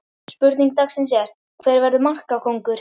Spurning dagsins er: Hver verður markakóngur?